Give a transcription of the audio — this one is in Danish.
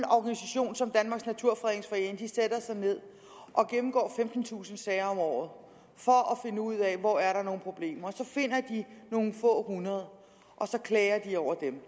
organisation som danmarks naturfredningsforening sætter sig ned og gennemgår femtentusind sager om året for at finde ud af hvor der er nogle problemer og så finder de nogle få hundrede og så klager de over dem